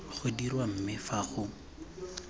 go dirwa mme fa go